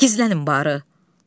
Gizlənin barı.